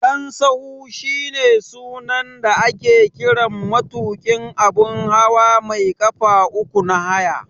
Dan sahu shine sunan da ake kiran matuƙin abun hawa mai ƙafa uku na haya.